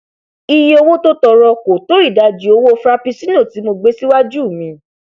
iye owó tó tọọrọ kò tó ìdajì owo frapuccinno tí mo gbé síwájú mi